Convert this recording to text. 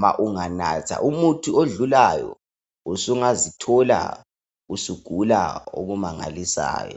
Ma unganatha umuthi odlulayo usungazithola usugula okumangalisayo.